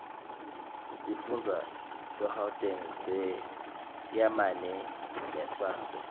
sifundza segauteng seyamane nesase